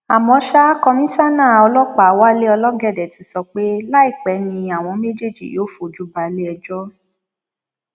àmọ ṣá komisanna ọlọpàá wálé ológóde ti sọ pé láìpẹ ni àwọn méjèèjì yóò fojú balẹẹjọ